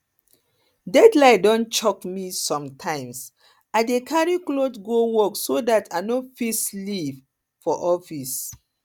deadline don choke me sometimes i dey carry cloth go work so dat i go fit sleep for sleep for office